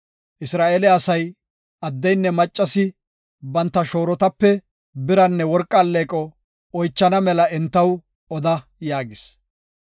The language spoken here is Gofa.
Isra7eele asay, addeynne maccasi banta shoorotape biranne worqa alleeqo oychana mela entaw oda” yaagis.